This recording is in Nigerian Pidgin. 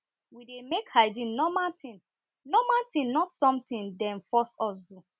we dey make hygiene normal thing normal thing not something dem force us do